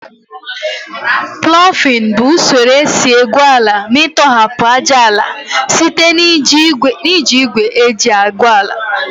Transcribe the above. Plọfin bụ usoro esi egwu ala ma ịtọhapụ ájáala site na iji igwe eji egwu ala